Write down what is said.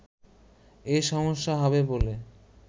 এ সমস্যা হবে বলে